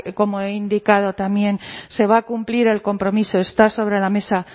como he indicado también se va a cumplir el compromiso está sobre la mesa